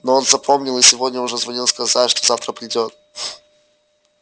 но он запомнил и сегодня уже звонил сказать что завтра придёт